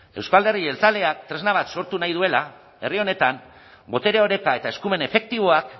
euzko alderdi jeltzaleak tresna bat sortu nahi duela herri honetan botere oreka eta eskumen efektiboak